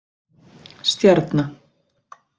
Stjarna